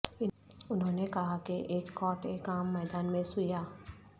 انہوں نے کہا کہ ایک کاٹ ایک عام میدان میں سویا